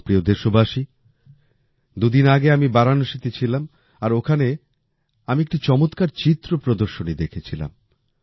আমার প্রিয় দেশবাসী দুদিন আগে আমি বারাণসীতে ছিলাম আর ওখানে আমি একটি চমৎকার চিত্র প্রদর্শনী দেখেছিলাম